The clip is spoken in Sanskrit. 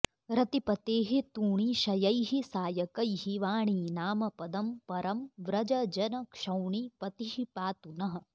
रतिपतेः तूणी शयैः सायकैः वाणीनाम पदम् परम् व्रज जन क्षौणी पतिः पातु नः